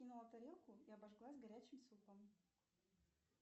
тарелку и обожглась горячим супом